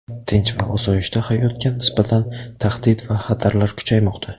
tinch va osoyishta hayotga nisbatan tahdid va xatarlar kuchaymoqda.